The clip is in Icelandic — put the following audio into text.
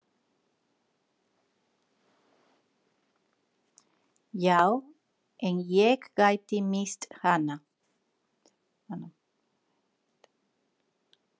Já, en ég gæti misst hana